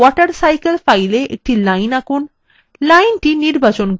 আপনার mywatercycle file a একটি line আঁকুন